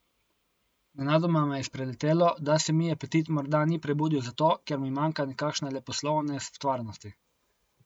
Nenadoma me je spreletelo, da se mi apetit morda ni prebudil zato, ker mi manjka nekakšne leposlovne stvarnosti.